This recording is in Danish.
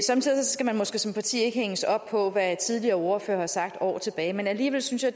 skal man måske som parti ikke hænges op på hvad tidligere ordførere har sagt år tilbage men alligevel synes jeg